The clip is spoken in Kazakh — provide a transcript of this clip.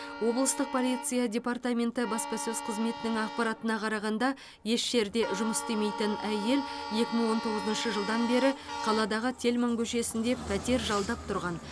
облыстық полиция департаменті баспасөз қызметінің ақпаратына қарағанда еш жерде жұмыс істемейтін әйел екі мың он тоғызыншы жылдан бері қаладағы тельман көшесінде пәтер жалдап тұрған